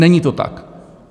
Není to tak.